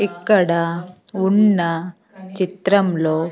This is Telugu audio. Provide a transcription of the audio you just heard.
ఇక్కడ ఉన్న చిత్రంలో--